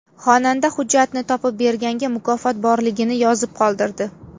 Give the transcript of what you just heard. Xonanda hujjatni topib berganga mukofot borligini yozib qoldirdi.